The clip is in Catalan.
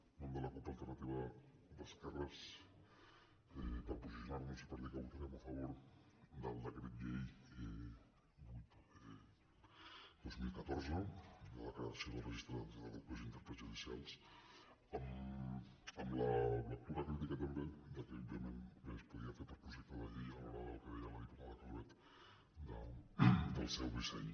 en nom de la cup · alternativa d’esquerres per posicionar·nos i per dir que votarem a favor del decret llei vuit dos mil catorze de la cre·ació del registre de traductors i intèrprets judicials amb la lectura crítica també que òbviament bé es podria fer per projecte de llei a l’hora del que deia la diputada calvet del seu disseny